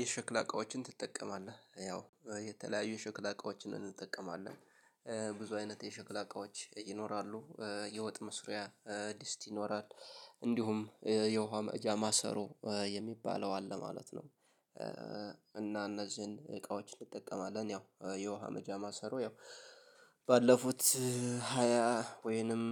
የሽክላ አቃወችን ትጠቀማለህ ያው የተለያዩ የሽክል አቃወችን እንጠቀማለን ብዙ አይነት የሸክላ እቃዎች ይኖራሉ የወጥ መስሪያ ድስት ይኖራል እንዲሁም የውሃ መቅጃ ማሰሮ የሚባለው አለ ማለት ነው። እና እነዚህን እቃዎች እንጠቀማለን ያው የውሃ መቅጃ ማሰሮ ያው። ባለፉት ሃያ ወይንም